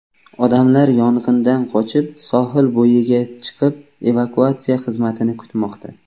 Odamlar yong‘indan qochib, sohil bo‘yiga chiqib, evakuatsiya xizmatini kutmoqda.